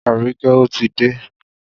Aríkẹ́ ò tí dé.